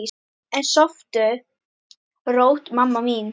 En sofðu rótt, mamma mín.